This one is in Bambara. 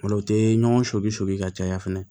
Ola o tɛ ɲɔgɔn sobi soli ka caya fɛnɛ